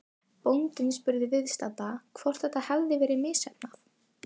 Bóndinn spurði viðstadda hvort þetta hefði verið misheppnað.